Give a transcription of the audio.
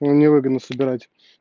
мне невыгодно собирать